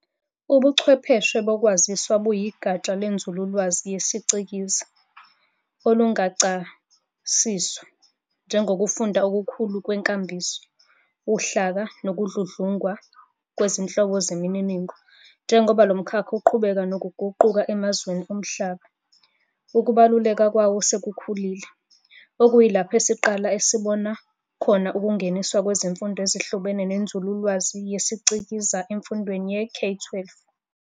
Ubuchwepheshe bokwaziswa buyigatsha lenzululwazi yesicikizi, olungachasiswa njengokufundwa okukhulu kwenkambiso, uhlaka, nokudludlungwa, kwezinhlobo zemininingo. Njengoba lomkhakha uqhubeka nokuguquka emazweni omhlaba, ukubaluleka kwawo sekukhulile, okuyilapho esiqala esibona khona ukungeniswa kwezifundo ezihlobene nenzululwazi yesicikizi emfundweni ye-K12.